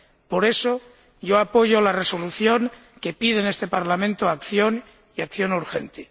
Por eso, yo apoyo la resolución, que pide en este Parlamento acción, y acción urgente.